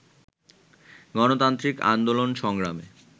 গণতান্ত্রিক আন্দোলন-সংগ্রামে